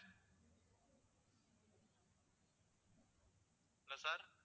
hello sir